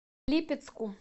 липецку